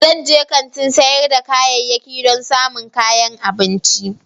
Zan je kantin sayar da kayayyaki don samun kayan abinci.